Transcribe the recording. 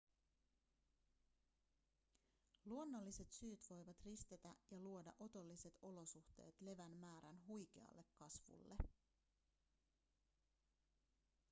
luonnolliset syyt voivat ristetä ja luoda otolliset olosuhteet levän määrän huikealle kasvulle